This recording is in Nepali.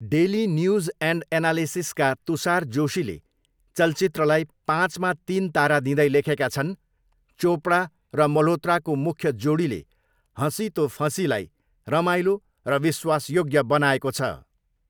डेली न्युज एन्ड एनालिसिसका तुषार जोशीले चलचित्रलाई पाँचमा तिन तारा दिँदै लेखेका छन्, 'चोपडा र मल्होत्राको मुख्य जोडीले हसी तो फसीलाई रमाइलो र विश्वासयोग्य बनाएको छ।